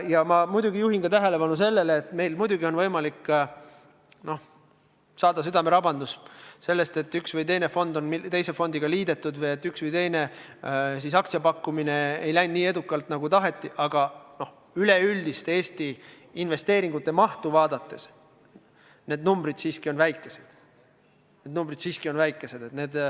Ja ma juhin tähelepanu sellele, et muidugi on meil võimalik saada südamerabandus sellest, kui üks või teine fond on teise fondiga liidetud või kui üks või teine aktsiapakkumine pole läinud nii edukalt, nagu taheti, aga üleüldist Eesti investeeringute mahtu vaadates on need numbrid siiski väikesed.